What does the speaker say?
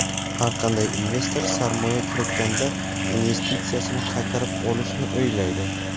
har qanday investor sarmoya kiritganda investitsiyasini qaytarib olishni o‘ylaydi.